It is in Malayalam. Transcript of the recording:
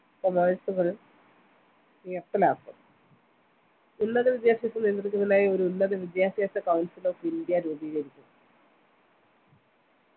commerce കൾ നിർത്തലാക്കും ഉന്നത വിദ്യാഭ്യാസം നിയന്ത്രിക്കുന്നതിനായി ഒരു ഉന്നത വിദ്യാഭ്യാസ counsellor of ഇന്ത്യ രൂപീകരിക്കും